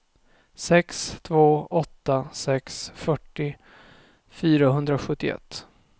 sex två åtta sex fyrtio fyrahundrasjuttioett